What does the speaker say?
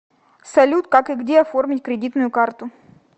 салют как и где оформить кредитную карту